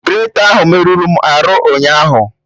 Greta ahụ merụrụ m arụ ụnyaahụ